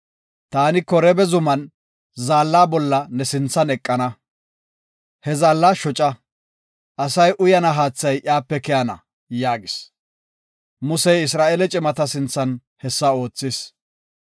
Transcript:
Taani Koreeba zuman zaalla bolla ne sinthan eqana. He zaalla shoca; asay uyana haathay iyape keyana” yaagis. Musey Isra7eele cimata sinthan hessa oothis.